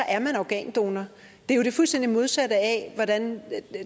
er man organdonor det er jo det fuldstændig modsatte af hvordan